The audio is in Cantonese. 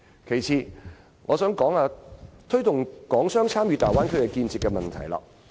其次，我想討論推動港商參與大灣區建設的問題。